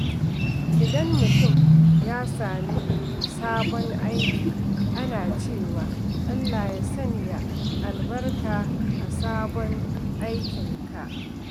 Idan mutum ya sami sabon aiki, ana cewa, "Allah ya sanya albarka a sabon aikinka."